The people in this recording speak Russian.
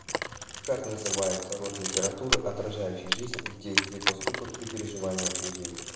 как называется род литературы отражающий жизнь в действии поступках и переживаниях людей